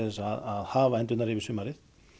að hafa endurnar yfir sumarið